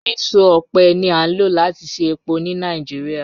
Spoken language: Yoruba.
Eso ọpẹ ni a lo lati ṣe epo ni Nigeria